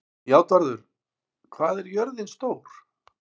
Játvarður, hvað er jörðin stór?